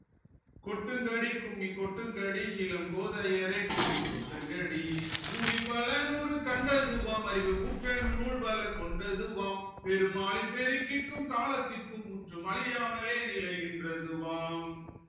கொட்டுங்கடி கும்மி கொட்டுங்கடி இளம் கோதையரே கும்மி கொட்டுங்கடி ஊழி பல நூறு கண்டதூவாம் அறிவு ஊற்றனும் நூல் பல கொண்டதுவாம் பெரும் ஆழிப் பெருக்கிற்கும் காலத்திற்கும் முற்றும் அழியாமலே நிலைநின்றதுவாம்